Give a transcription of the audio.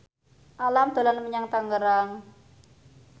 Alam dolan menyang Tangerang